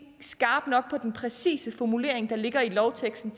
skarpt nok den præcise formulering i lovteksten